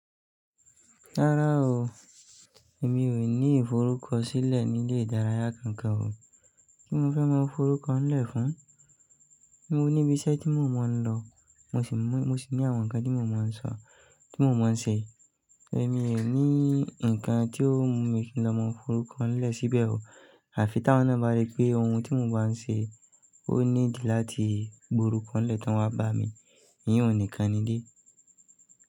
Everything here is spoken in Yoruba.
Rárá o, èmi ò ní ìforúkọ sílẹ̀ nílé ìdárayá kankan o. Kí mo fẹ́ mọ forúkọ ńlẹ̀ fún un? Mo níbi iṣẹ́ tí mò ń mọ ń lọ, mo sì ní àwọn ǹkan tí mò ń mọ ń sọ, tí mò ń mọ ń ṣe. Ẹ̀mi ẹ ní ǹkan tí ó mú mi kí n lọ mọ forúkọ ńlẹ̀ síbẹ̀ o. À fi táwọn náà bá rí pé ohun tí mò ń bá ń ṣe ó ní ìdí láti gborúkọ ńlẹ̀ tó ń wá bá mi, iyẹn ò ní kan ni dé.